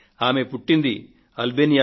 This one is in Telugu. ఆమె పుట్టిన దేశం అల్బేనియా